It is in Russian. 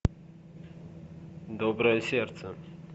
доброе сердце